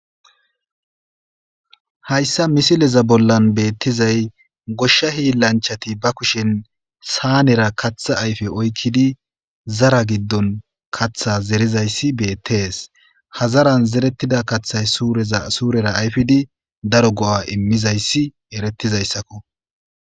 "Haysa misileza bolla beetizay goshsha hiilanchati ba kushen saanera kaththa ayfe oyikidi zara giddon kaththa zerisaysi betees ha zaran zarettida kaththay suurera ayfidi daro go'a immizaysi eretizaysako."